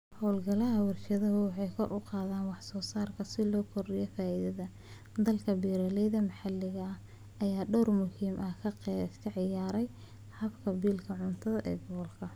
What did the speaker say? Hawlgallada warshaduhu waxay kor u qaadaan wax soo saarka si loo kordhiyo faa'iidada. Dadaalka beeralayda maxalliga ah ayaa door muhiim ah ka ciyaara haqab-beelka cuntada ee gobolka.